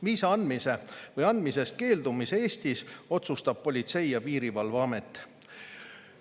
Viisa andmise või andmisest keeldumise Eestis otsustab Politsei- ja Piirivalveamet.